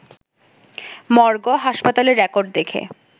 morgue, হাসপাতালের record দেখে